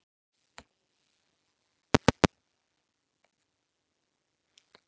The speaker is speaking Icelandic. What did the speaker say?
Hefurðu hug á því að halda áfram?